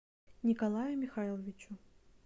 николаю михайловичу